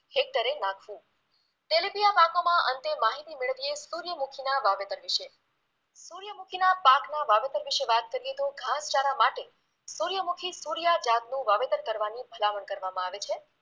દરે નાખવુ તેલિબિયા પાકોમાં અંતે માહિતી મેળવીએ સૂર્યમુખીના વાવેતર વિશે, સૂર્યમુખીના પાકના વાવેતર વિશે વાઅત કરીએ તો ઘાસચારા માટે સૂર્યમુખી સૂર્યા જાતનું વાવેતર કરવાની ભલામણ કરવામાંં આવે છે